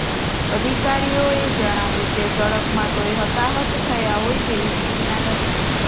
અધિકારીઓએ જણાવ્યું કે ઝડપમાં કોઈ હતાહત થયા હોય તેવી સૂચના નથી